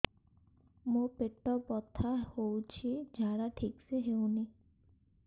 ମୋ ପେଟ ବଥା ହୋଉଛି ଝାଡା ଠିକ ସେ ହେଉନି